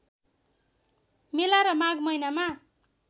मेला र माघ महिनामा